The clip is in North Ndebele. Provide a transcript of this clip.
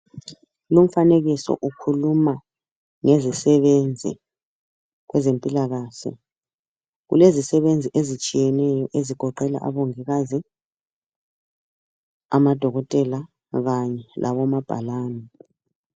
Lumfanekiso ukhuluma ngezisebenzi kwezempilakahle kulezisebenzi ezitshiyeneyo ezigoqela abongikazi, amadokotela kanye labomabhalane.